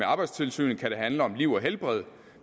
arbejdstilsynet kan handle om liv og helbred